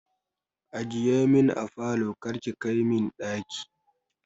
Ajiye min a falo kar ki kai min ɗaki.